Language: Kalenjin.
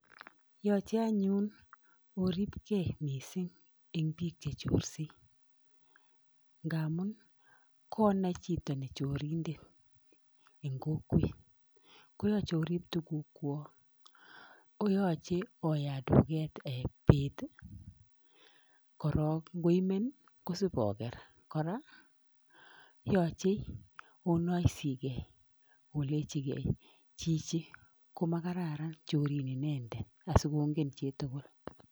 Yoche anyun oripkei mising eng biik chechorsei ngamun konai chito ne chorindet eng kokwet, koyoche orip tugukwok, koyoche oyat dukoshek um bet korok ngoimen ko shopoker. kora, yoche onoisigei olechigei 'chichi ko makararan chorin inendet.' Asikongen chitugul.